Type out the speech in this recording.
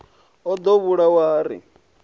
o ḓo vhulawa ha ri